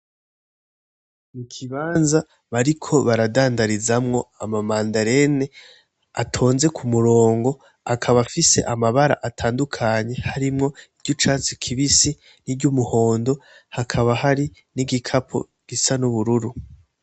Ikibanza bariko baradandarizamwo ama mandarine atonze k'umurongo akaba afise amabara atandukanye harimwo iry'icatsi kibisi iry'umuhondo hakaba hari n'igikapo gisa n'ubururu.